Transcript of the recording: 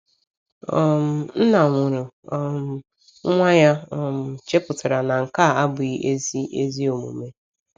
um Nna nwụrụ um nwa ya um chepụtara na nke a abụghị ezi ezi omume.